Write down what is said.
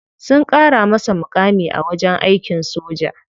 Sun kara masa mukami a wajen aikin soja.